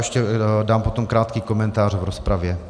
Ještě dám potom krátký komentář v rozpravě.